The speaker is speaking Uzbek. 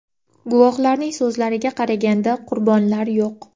Guvohlarning so‘zlariga qaraganda, qurbonlar yo‘q.